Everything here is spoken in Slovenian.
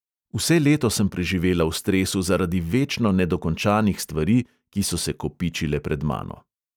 Vse leto sem preživela v stresu zaradi večno nedokončanih stvari, ki so se kopičile pred mano.